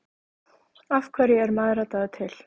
Af hverju er mæðradagur til?